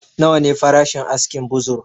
Nawa ne farashin askin buzur?